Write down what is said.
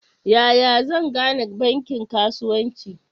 Yaya zan gane bankin kasuwanci?